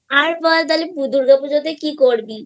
আর বল দুর্গা পূজা তে কি করবি